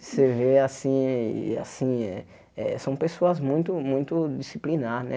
Você vê assim, assim, eh assim eh eh são pessoas muito, muito disciplinar, né?